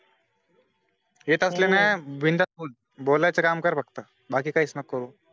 येत असले ना बिंदास बोल बोलायचं काम कर फक्त, बाकी कैच नको करू